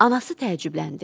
Anası təəccübləndi.